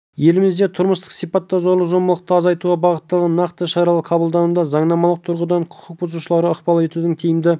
елімізде тұрмыстық сипаттағы зорлық-зомбылықты азайтуға бағытталған нақты шаралар қабылдануда заңнамалық тұрғыдан құқық бұзушыларға ықпал етудің тиімді